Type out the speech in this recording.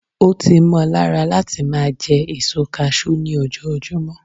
o ti mo lára lati ma je èso cashew ni ojojumọ